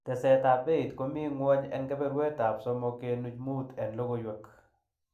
Tesetab peit komiten ngwony en keberuet ab somok kenuch muuch en logoiywek